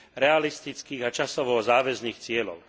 realistických a časovo záväzných cieľov.